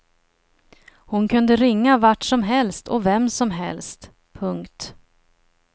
Hon kunde ringa vart som helst och vem som helst. punkt